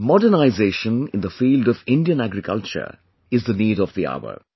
Modernization in the field of Indian agriculture is the need of the hour